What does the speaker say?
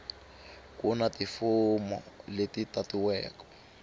ku na tifomo leti tatiwaku